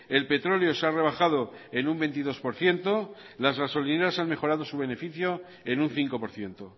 el petróleo se ha rebajado en un veintidós por ciento las gasolineras han mejorado su beneficio en un cinco por ciento